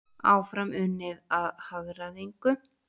Áfram unnið að hagræðingu